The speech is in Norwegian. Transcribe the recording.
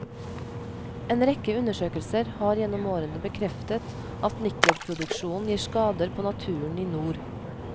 En rekke undersøkelser har gjennom årene bekreftet at nikkelproduksjonen gir skader på naturen i nord.